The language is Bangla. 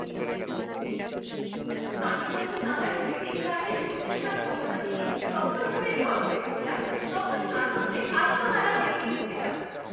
আমি যখন আমার ক্রেডিট কার্ডে সুদের হার কমানো নিয়ে সফলভাবে দর করেছিলাম তখন আনন্দে আত্মহারা হয়ে গিয়েছিলাম।